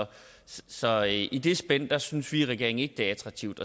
så i i det spænd synes vi i regeringen ikke det er attraktivt